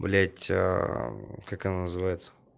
блять как она называется